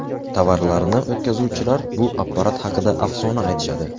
Tovarlarini o‘tkazuvchilar bu apparat haqida afsona aytishadi.